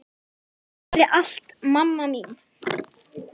Takk fyrir allt, mamma mín.